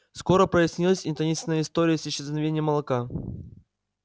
скоро прояснилась и таинственная история с исчезновением молока